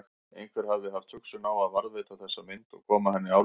Einhver hafði haft hugsun á að varðveita þessa mynd og koma henni áleiðis.